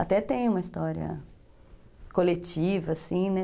Até tem uma história coletiva, assim, né?